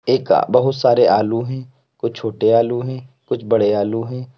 एक अह बहुत सारे आलू हैं कुछ छोटे आलू हैं कुछ बड़े आलू हैं।